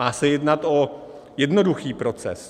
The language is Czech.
Má se jednat o jednoduchý proces.